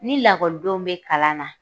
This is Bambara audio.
Ni lakɔlidenw be kalan na